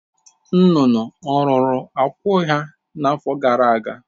Nnụnụ ọ̀ rụrụ akwụ́ ha n’afọ gara aga?